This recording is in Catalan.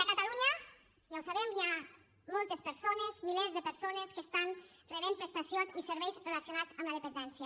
a catalunya ja ho sabem hi ha moltes persones milers de persones que estan rebent prestacions i serveis relacionats amb la dependència